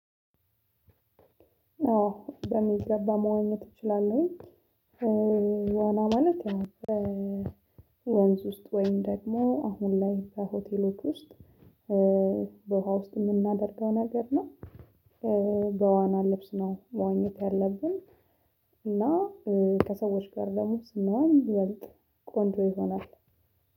አዎ በሚገባ መዋኘት እችላለሁኝ። ዋና ማለት ወንዝ ውስጥ ወይም ደግሞ አሁን ላይ በሆቴሎች ውስጥ በውሃ ውስጥ የምናደርገው ነገር ነው። በዋና ልብስ ነው መዋኘት ያለብን። እና ከሰዎች ጋር ደሞ ስንዋይ ይበልጥ ቆንጆ ይሆናል።